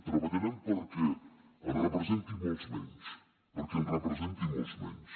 treballarem perquè en representi molts menys perquè en representi molts menys